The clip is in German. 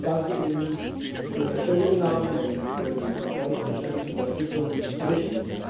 Ich danke Ihnen für Ihre Stellungnahmen und für die deutliche Unterstützung des Berichts.